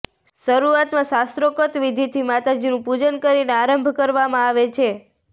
શરૃઆતમાં શાસ્ત્રોકત વિધિથી માતાજીનું પુજન કરીને આરંભ કરવામાં આવે છે